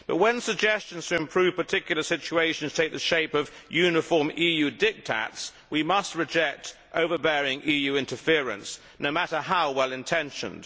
But when suggestions to improve particular situations take the shape of uniform EU diktats, we must reject overbearing EU interference, no matter how well intentioned.